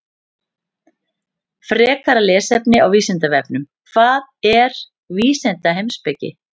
Frekara lesefni á Vísindavefnum: Hvað er vísindaheimspeki?